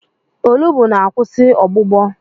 Olugbu na-akwụsị ọgbụgbọ.